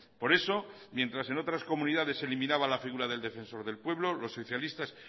por eso mientras en otras comunidades se eliminaba la figura del defensor del pueblo los socialistas